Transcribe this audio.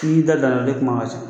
K'i ki da don a la ne kuma ka